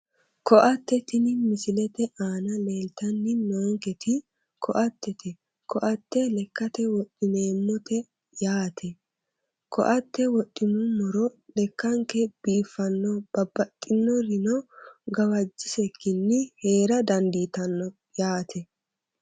Koatte tini misilete aana leeltanni noonketi koattete koatte lekkate wodhineemmote yaate koatte wodhinummoro lekkanke biiffanno babbaxxinorino gawajjisekkinni heera dandiitanno yaate